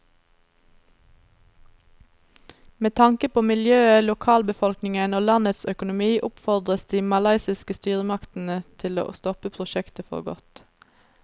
Med tanke på miljøet, lokalbefolkningen og landets økonomi oppfordres de malaysiske styresmaktene til å stoppe prosjektet for godt.